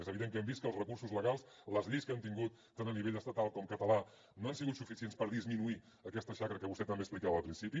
és evident que hem vist que els recursos legals les lleis que hem tingut tant a nivell estatal com català no han sigut suficients per disminuir aquesta xacra que vostè també explicava al principi